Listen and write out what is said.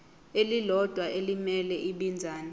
elilodwa elimele ibinzana